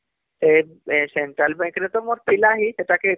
ଏ ଏ central bank ରେ ମୋର ଥିଲା ହିଁ ସେଟାକେ